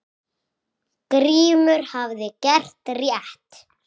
Grímur hafði gert rétt.